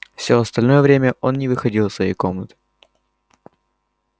все остальное время он не выходил из своей комнаты